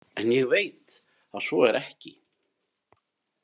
En ég veit að svo er ekki.